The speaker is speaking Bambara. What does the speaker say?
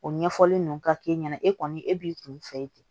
O ɲɛfɔli nunnu ka k'e ɲɛna e kɔni e b'i kun fɛ ten